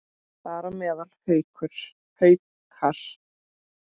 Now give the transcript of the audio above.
Þar á meðal Haukar.